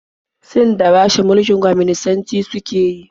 Sin da Rasha mulkin kwaminisanci suke yi.